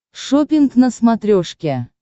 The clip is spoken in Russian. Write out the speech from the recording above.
шоппинг на смотрешке